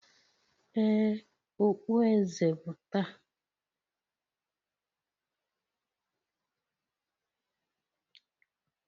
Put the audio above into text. Ee, okpueze bụ taa